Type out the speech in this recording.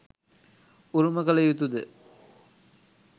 උරුම කළ යුතුද?